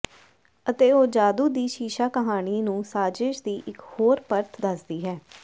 ਅਤੇ ਉਹ ਜਾਦੂ ਦੀ ਸ਼ੀਸ਼ਾ ਕਹਾਣੀ ਨੂੰ ਸਾਜ਼ਿਸ਼ ਦੀ ਇਕ ਹੋਰ ਪਰਤ ਦੱਸਦੀ ਹੈ